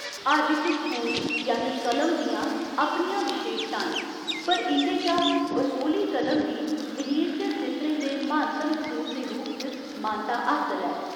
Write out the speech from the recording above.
हर इक स्कूल यानि कलम दियां अपनियां विशेशतां न, पर इं'दे चा बसोहली कलम गी मिनीएचर चित्रें दे म्हानतम स्कूल दे रूप च मानता हासल ऐ।